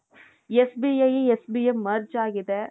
SBI ಮತ್ತೆ SBM merge ಆಗಿದೆ.